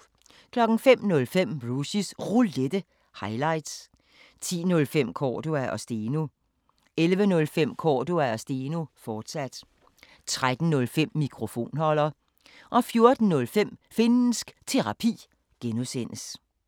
05:05: Rushys Roulette – highlights 10:05: Cordua & Steno 11:05: Cordua & Steno, fortsat 13:05: Mikrofonholder 14:05: Finnsk Terapi (G)